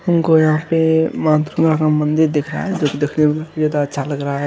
हमको यहाँ पे माँ दुर्गा का मंदिर दिखा है जो की देखने में बहुत ज्यादा अच्छा लग रहा है।